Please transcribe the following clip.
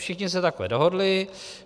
Všichni se takhle dohodli.